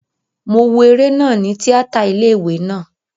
Mo wo eré náà ni tíátà ilé ìwé naa